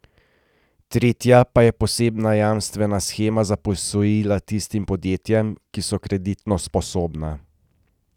Tretja pa je posebna jamstvena shema za posojila tistim podjetjem, ki so kreditno sposobna.